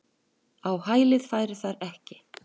Á hælið færu þær ekki.